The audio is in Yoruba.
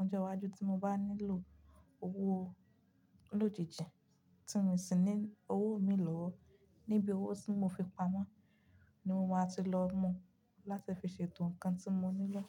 ọjọ́ iwájú tí mo bá nílò owó lójijì tí n sì ní owó mi lọ́wọ́. Níbi owó tí mo fi pamọ́ ni mo máa ti lọ mú láti fi ṣe ètò ǹkan tí mo nílò.